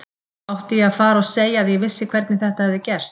Átti ég að fara og segja að ég vissi hvernig þetta hefði gerst.